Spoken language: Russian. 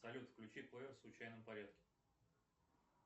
салют включи плеер в случайном порядке